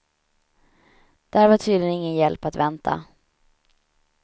Där var tydligen ingen hjälp att vänta.